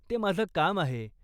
ते माझं काम आहे.